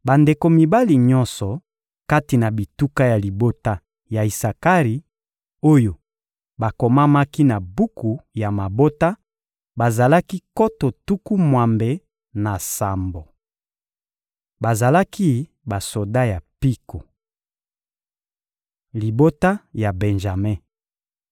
Bandeko mibali nyonso kati na bituka ya libota ya Isakari, oyo bakomamaki na buku ya mabota, bazalaki nkoto tuku mwambe na sambo. Bazalaki basoda ya mpiko. Libota ya Benjame (Ebl 46.21; Mit 26.38-39)